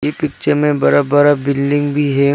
ये पिक्चर में बड़ा बड़ा बिल्डिंग भी है।